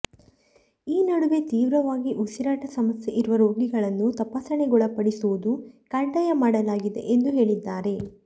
ಈ ನಡುವೆ ತೀವ್ರವಾಗಿ ಉಸಿರಾಟ ಸಮಸ್ಯೆ ಇರುವ ರೋಗಿಗಳನ್ನು ತಪಾಸಣೆಗೊಳಪಡಿಸುವುದು ಕಡ್ಡಾಯ ಮಾಡಲಾಗಿದೆ ಎಂದು ಹೇಳಿದ್ದಾರೆ